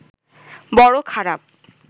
বড় খারাপ